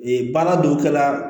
Ee baara dɔw kɛla